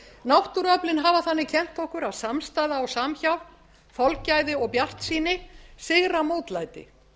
náttúruöflin hafa þannig kennt okkur að samstaða og samhjálp þolgæði og bjartsýni sigra mótlæti